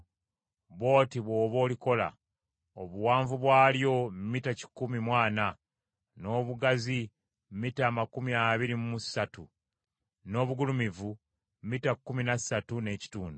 Bw’oti bw’oba olikola: obuwanvu bwalyo mita kikumi mu ana, n’obugazi mita amakumi abiri mu ssatu, n’obugulumivu mita kkumi na ssatu n’ekitundu.